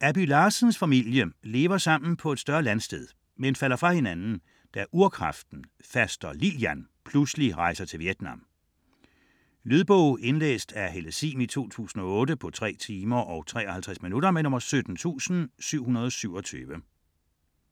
Abby Larsens familie lever sammen på et større landsted, men falder fra hinanden da urkraften, faster Lillian, pludselig rejser til Vietnam. Lydbog 17727 Indlæst af Helle Sihm, 2008. Spilletid: 3 timer, 53 minutter.